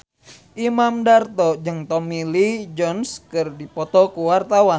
Imam Darto jeung Tommy Lee Jones keur dipoto ku wartawan